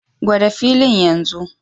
Gwada filin yanzu!